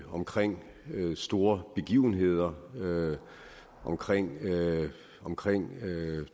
omkring store begivenheder omkring omkring